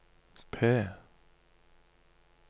P